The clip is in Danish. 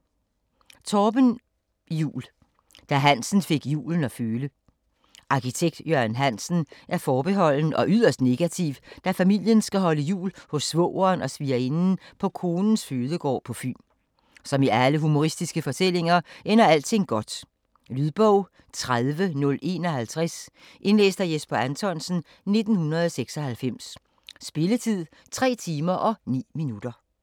Juul, Torben: Da Hansen fik julen at føle Arkitekt Jørgen Hansen er forbeholden og yderst negativ, da familien skal holde jul hos svogeren og svigerinden på konens fødegård på Fyn. Som i alle humoristiske fortællinger ender alting godt. Lydbog 30051 Indlæst af Jesper Anthonsen, 1996. Spilletid: 3 timer, 9 minutter.